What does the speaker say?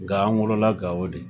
Nka an wolola Gao de.